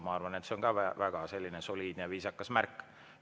Ma arvan, et see on väga soliidne ja viisakas märk.